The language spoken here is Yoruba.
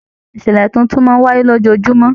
Ìṣẹlẹ títún máa n wáyé lójoojúmọ́.